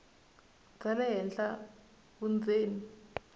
bya le henhla vundzeni